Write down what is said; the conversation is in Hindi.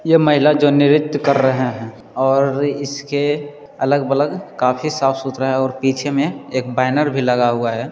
यह महिला जो नृत्य कर रहे हैं और इसके अलग-वलग काफी साफ-सुथरा हैं और पीछे में एक बैनर भी लगा हुआ हैं।